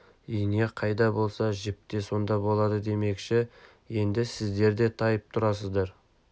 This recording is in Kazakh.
ине қайда болса жіп те сонда болады демекші енді сіздер де тайып тұрасыздар